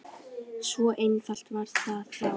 Svo einfalt var það þá.